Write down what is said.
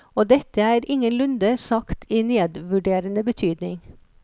Og dette er ingenlunde sagt i nedvurderende betydning.